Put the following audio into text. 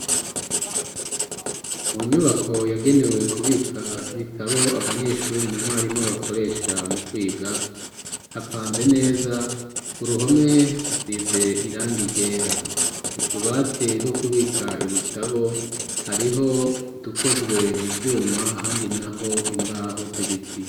Mu nyubako yagenewe kubika ibitabo, abanyeshure na mwarimu bakoresha mu kwiga, hapanze neza, ku ruhome hasize iranga ryera. Utubati two kubika ibitabo, hariho udukozwe mu vyuma ahandi n'aho imbaho z'ibiti.